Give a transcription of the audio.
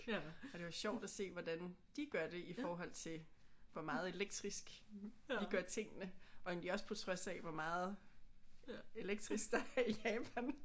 Og det var sjovt at se hvordan de gør det i forhold til hvor meget elektrisk vi gør tingene og egentlig også på trods af hvor meget elektrisk der er i Japan